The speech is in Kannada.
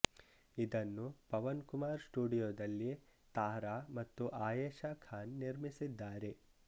ಇದನ್ನು ಪವನ್ ಕುಮಾರ್ ಸ್ಟುಡಿಯೋದಲ್ಲಿ ತಾರಾ ಮತ್ತು ಆಯೇಶಾ ಖಾನ್ ನಿರ್ಮಿಸಿದ್ದಾರೆ